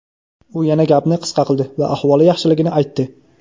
U yana gapni qisqa qildi va ahvoli yaxshiligini aytdi.